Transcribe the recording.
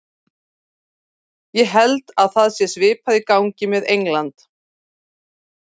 Ég held að það sé svipað í gangi með England.